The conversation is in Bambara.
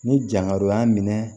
Ni jankaro y'a minɛ